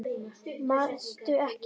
Manstu ekki?